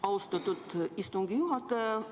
Austatud istungi juhataja!